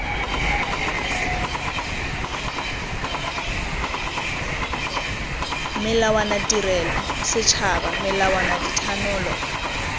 melawana tirelo setšhaba melawana dithanolo